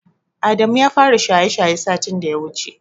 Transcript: Adamu ya fara shaye-shaye satin da ya wuce.